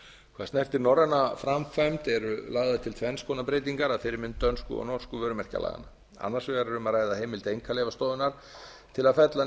hvað snertir norræna framkvæmd eru lagðar til tvenns konar breytingar að fyrirmynd dönsku og norsku vörumerkjalaganna annars vegar er um að ræða heimild einkaleyfastofunnar til að fella